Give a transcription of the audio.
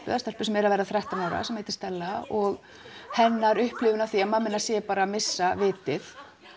sem er að verða þrettán ára og hennar upplifun af því að mamma hennar sé bara að missa vitið